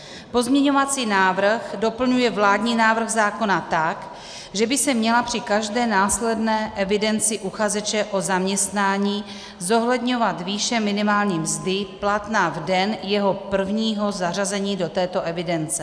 Pozměňovací návrh doplňuje vládní návrh zákona tak, že by se měla při každé následné evidenci uchazeče o zaměstnání zohledňovat výše minimální mzdy platná v den jeho prvního zařazení do této evidence.